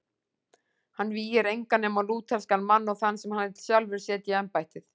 Hann vígir engan nema lúterskan mann og þann sem hann vill sjálfur setja í embættið.